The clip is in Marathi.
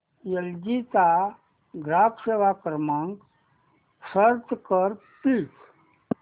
एल जी चा ग्राहक सेवा क्रमांक सर्च कर प्लीज